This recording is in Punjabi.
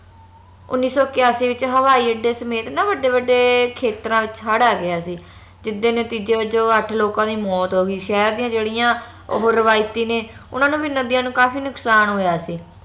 ਉੱਨੀ ਸੋ ਕਯਾਸੀ ਵਿਚ ਹਵਾਈ ਅੱਡੇ ਸਮੇਤ ਨਾ ਵੱਡੇ ਵੱਡੇ ਖੇਤਰਾਂ ਵਿਚ ਹੜ ਆ ਗਿਆ ਸੀ ਜਿਸਦੇ ਨਤੀਜੇ ਵਜੋਂ ਅਠ ਲੋਕਾਂ ਦੀ ਮੌਤ ਹੋ ਗਯੀ ਸ਼ਹਿਰ ਦੀਆ ਜੇੜੀਆਂ ਉਹ ਰਵਾਇਤੀ ਨੇ ਓਨਾ ਨੂੰ ਵੀ ਨਦੀਆਂ ਨੂੰ ਕਾਫੀ ਨੁਕਸਾਨ ਹੋਇਆ ਸੀ